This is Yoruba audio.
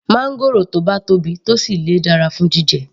Máńgòrò tó bá tóbi tó sì le dára fún jíjẹ